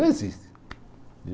Não existe.